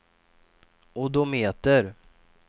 odometer